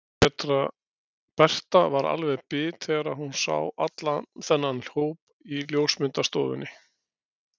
Berta var alveg bit þegar hún sá allan þennan hóp í ljósmyndastofunni.